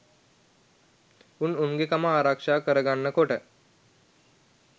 උන් උන්ගෙ කම ආරක්ෂා කර ගන්න කොට